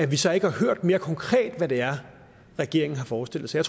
vi så ikke har hørt mere konkret hvad det er regeringen forestiller sig